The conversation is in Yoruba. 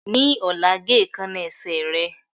Ní ọ̀la, ge èékánná ẹsẹ̀ rẹ